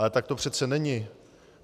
Ale tak to přece není.